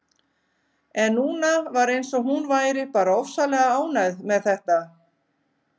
En núna var eins og hún væri bara ofsalega ánægð með þetta.